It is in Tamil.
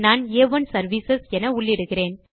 நான் ஆ1 சர்விஸ் என உள்ளிடுகிறேன்